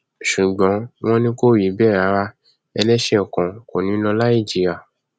ṣùgbọn wọn ní kò rí bẹẹ rárá ẹlẹṣẹ kan kò ní í lọ láì jìyà